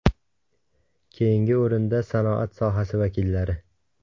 Keyingi o‘rinda sanoat sohasi vakillari.